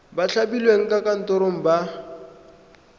ba thapilweng ka konteraka ba